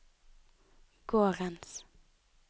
gårdens